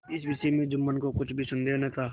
इस विषय में जुम्मन को कुछ भी संदेह न था